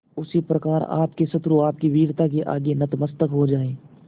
उसी प्रकार आपके शत्रु आपकी वीरता के आगे नतमस्तक हो जाएं